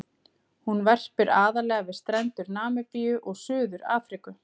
Hún verpir aðallega við strendur Namibíu og Suður-Afríku.